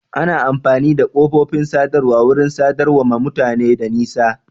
Ana amfani da kafofin sadarwa wurin sadarwa ma mutane da nesa